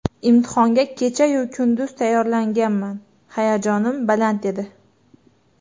Imtihonga kechayu kunduz tayyorlanganman, hayajonim baland edi.